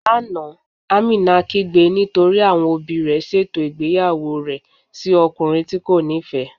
Lána, Àmínà kígbè nítorí àwọn ọbì rẹ̀ sétò igbeyàwó rẹ̀ sí ọ̀kùnrin tí́ kò nífẹ́.